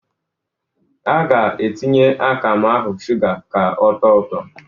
A ga-atinye akamụ ahụ shụga ka ọtọọ ụtọ.